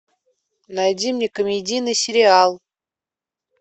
найди мне комедийный сериал